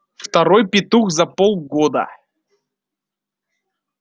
второй петух за полгода